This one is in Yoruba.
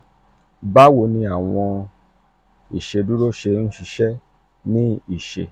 bawo ni awọn ni awọn iṣeduro ṣe n ṣiṣẹ ni iṣe?